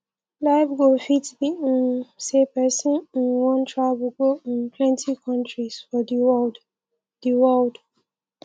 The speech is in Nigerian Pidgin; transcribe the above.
life goal fit be um sey person um wan travel go um plenty countries for di world di world